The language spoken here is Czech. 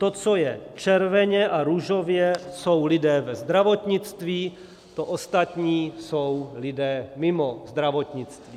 To, co je červeně a růžově, jsou lidé ve zdravotnictví, to ostatní jsou lidé mimo zdravotnictví.